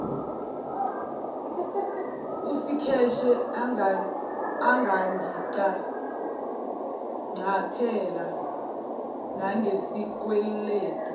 usikheshe angangicangcathela nangesikweledu